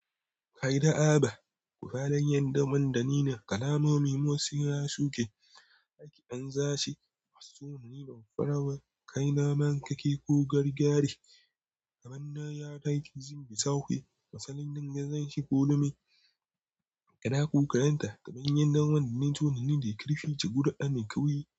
Kai da Aba, ku fadan yadda man da ni na kalamomi motsi ya suke. Hake ɗan zashi, wasu na ni bamfarawa, kai na mankake ko gargadi. Kamanna ya taki, zimfi sake. Matsalin nan gadan shi ko na mai. Kada ku kaɗanta, kaɓin yadda wanda nazo na ni da ƙirfi, cigura ɗan mai kawi.